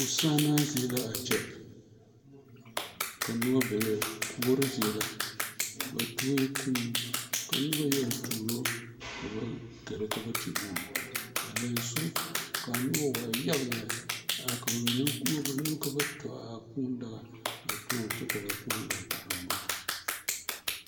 Posaanaa zie la a kyɛ ka noba bebe kuori zie la ba tue kuu ka noba yaga tuuro a gɛrɛ gɛrɛ ka ba te uu a lɛnso ka a noba waa yaga lɛ ka a ba mine voɔ ba nuure ka ba tɔ kuu daga a toɔ kyɛ ka ba gaa te uuŋ.